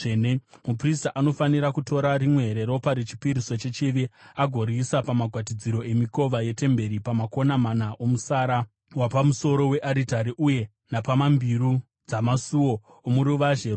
Muprista anofanira kutora rimwe reropa rechipiriso chechivi agoriisa pamagwatidziro emikova yetemberi, pamakona mana omusara wapamusoro wearitari uye napambiru dzamasuo omuruvazhe rwomukati.